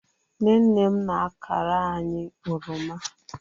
nne nne m na-akara anyi oroma